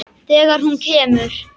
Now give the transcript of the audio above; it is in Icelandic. Þegar hún kemur.